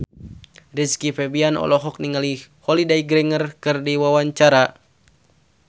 Rizky Febian olohok ningali Holliday Grainger keur diwawancara